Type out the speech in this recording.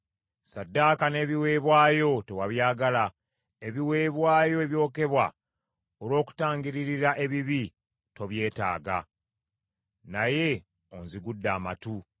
Ssaddaaka n’ebiweebwayo tewabyagala. Ebiweebwayo ebyokebwa olw’okutangirira ebibi, tobyetaaga. Naye onzigudde amatu.